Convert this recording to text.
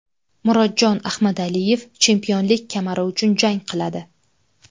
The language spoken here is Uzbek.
Murodjon Ahmadaliyev chempionlik kamari uchun jang qiladi.